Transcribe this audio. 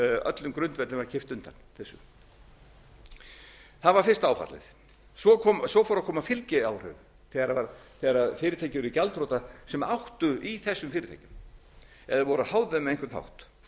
öllum grundvellinum var kippt undan þessu það var fyrsta áfallið svo fóru að koma fylgiáhrifin þegar fyrirtæki urðu gjaldþrota sem áttu í þessum fyrirtækjum eða voru háð þeim á einhvern hátt